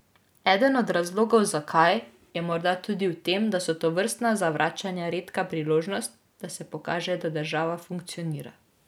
Eden od razlogov zakaj, je morda tudi v tem, da so tovrstna zavračanja redka priložnost, da se pokaže, da država funkcionira.